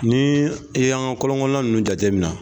Ni i y'an ka kɔlɔnkɔnnan nunnu jatemina